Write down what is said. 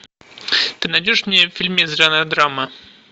ты найдешь мне фильмец жанр драма